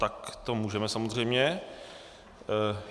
Tak to můžeme, samozřejmě.